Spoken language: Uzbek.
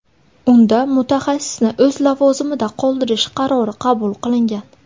Unda mutaxassisni o‘z lavozimida qoldirish qarori qabul qilingan.